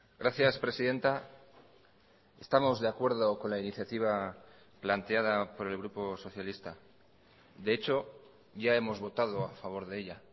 gracias presidenta estamos de acuerdo con la iniciativa planteada por el grupo socialista de hecho ya hemos votado a favor de ella